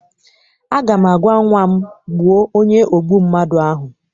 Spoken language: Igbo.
Aga m agwa nnwa m, gbuo onye ogbu mmadụ ahụ!